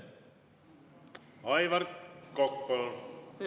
Aivar Kokk, palun!